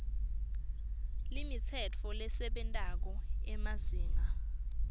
limitsetfo lesebentako emazinga